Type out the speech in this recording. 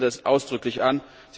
Ich erkenne das ausdrücklich an!